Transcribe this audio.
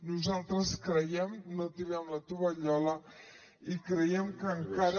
nosaltres no tirem la tovallola i creiem que encara